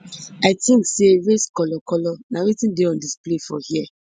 i tink say race colour colour na wetin dey on display for hia